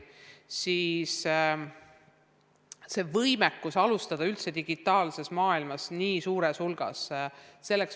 Meie võimekus alustada õpet digitaalses maailmas nii suures hulgas oli väga hea.